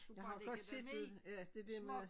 Jeg har godt set det ja det dér med